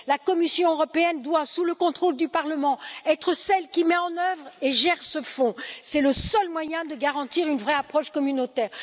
La Commission européenne doit, sous le contrôle du Parlement, être celle qui met en œuvre et gère ce fonds, c'est le seul moyen de garantir une vraie approche communautaire.